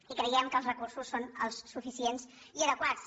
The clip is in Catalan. i creiem que els recursos són els suficients i adequats